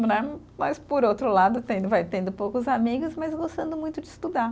Né, mas, por outro lado, tendo vai, tendo poucos amigos, mas gostando muito de estudar.